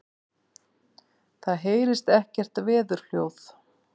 Það heyrist ekkert veðurhljóð.